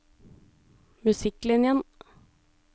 musikklinjen